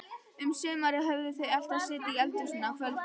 Um sumarið höfðu þau alltaf setið í eldhúsinu á kvöldin.